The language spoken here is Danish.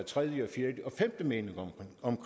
videre